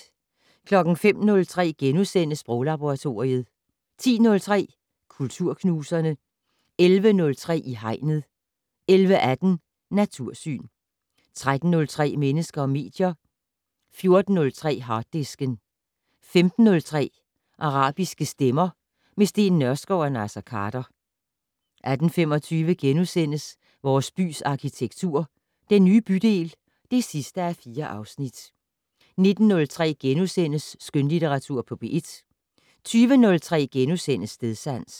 05:03: Sproglaboratoriet * 10:03: Kulturknuserne 11:03: I Hegnet 11:18: Natursyn 13:03: Mennesker og medier 14:03: Harddisken 15:03: Arabiske stemmer - med Steen Nørskov og Naser Khader 18:25: Vores bys arkitektur - Den nye bydel (4:4)* 19:03: Skønlitteratur på P1 * 20:03: Stedsans *